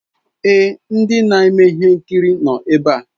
Èé, ndị na-eme ihe nkiri nọ ebe a.